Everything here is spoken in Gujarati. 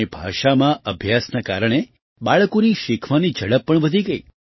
પોતાની ભાષામાં અભ્યાસના કારણે બાળકોની શીખવાની ઝડપ પણ વધી ગઈ